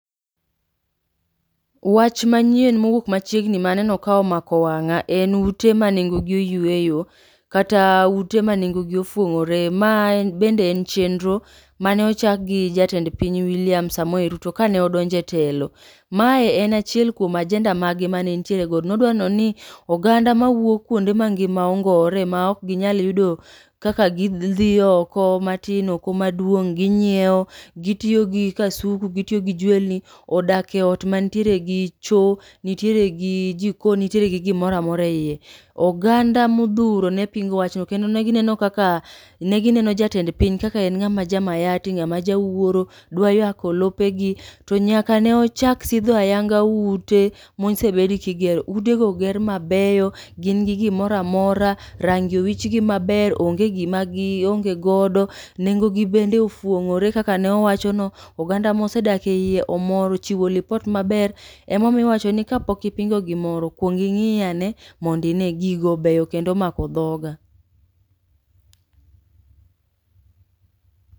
Wach manyien mowuok machiegni maneno komako wang'a en ute manengo gi oyueyo kata ute manengogi ofuong'ore. Mae en bende chenro mane ochagkgi jatend piny William Samoei Ruto kane odonje etelo. Mae en achiel kuom ajenda mage mane entiere godo nodwa nenoni oganda mawuok kuonde mangima ongowore ma ok ginyal yudo kaka gi dhi oko matin oko maduong' ginyiewo gitiyogi kasuku gitiyo gi jwenlni odake e oot mantiere gi choo nitieregi jikon nitieregi gimora amora eiye. Oganda modhuro ne pingo wachno kendo negi neno kaka negineno jatend piny kaka en ng'ama jamayati ng'ama jawuoro dwa yako lopegi. To nyaka ne ochak sidho ayanga ute mosebedi kigero. Utego oger mabeyo gingi gimoro amora rangi owichgi maber onge gima gionge godo nengogi bende ofuong'ore kaka ne owachono. Oganda mosedake eiye omor ochiwo lipot maber. Ema omiyo iwachoni kapok ipingo gimoro kuong ing'iyane mondi ine gigo beyo kendo omako dhoga.